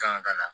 Kan ka na